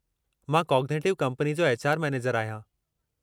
मां cognitive company जो HR. Manager आहियां।